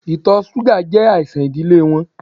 Itọ ṣuga jẹ aisan idile wọn